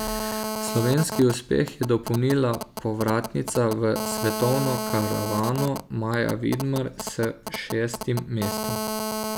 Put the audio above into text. Slovenski uspeh je dopolnila povratnica v svetovno karavano Maja Vidmar s šestim mestom.